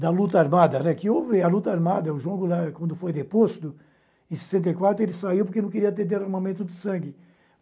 da luta armada, né, que houve a luta armada, o João Goulart, quando foi deposto, em sessenta e quatro, ele saiu porque não queria ter derramamento de sangue.